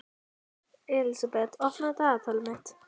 Elísabet, opnaðu dagatalið mitt.